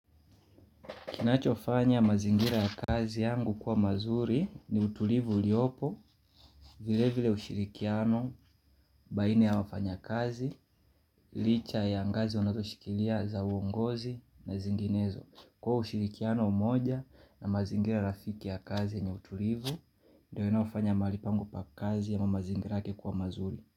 Kinachofanya mazingira ya kazi yangu kuwa mazuri ni utulivu uliopo, vile vile ushirikiano, baina ya wafanyakazi, licha ya ngazi wanazoshikilia za uongozi na zinginezo. Kwa ushirikiano umoja na mazingira rafiki ya kazi ni utulivu, ndiyo inayofanya mahali pangu pa kazi ana mazingira yake kuwa mazuri.